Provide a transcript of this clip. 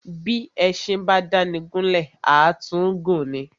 Bí éṣin bá dáni gún lè, à tún gùn ni.